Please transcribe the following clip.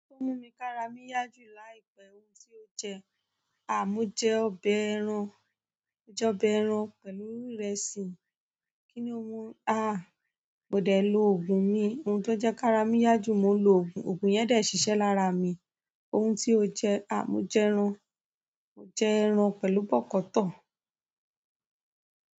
To mu ki aara mi ya ju láìpẹ́ yi, mo je ọbẹ̀ ẹran, mo je ọbẹ̀ ẹran pẹ̀lú ìrẹsì. Kíni ó hun? Ah! Mó dẹ̀ lo ògùn mí. Ohun tó jẹ kára mi yá jù, mó lo ògùn, ògùn yẹn dẹ̀ ṣiṣẹ́ lára mi. Ohun tí ó jẹ, à mó jẹ ẹran, mó jẹ ẹran pẹ̀lú bọ̀kọ̀tọ̀.